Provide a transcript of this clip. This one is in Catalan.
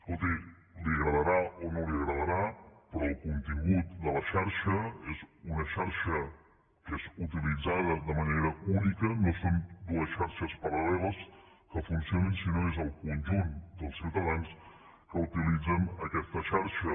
escolti li agradarà o no li agradarà però el contingut de la xarxa és una xarxa que és utilitzada de manera única no són dues xarxes paral·leles que funcionen sinó que és el conjunt dels ciutadans que utilitzen aquesta xarxa